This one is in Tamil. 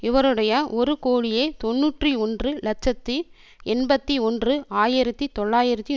இவருடைய ஒரு கோடியே தொன்னூற்றி ஒன்று இலட்சத்தி எண்பத்தி ஒன்று ஆயிரத்தி தொள்ளாயிரத்தி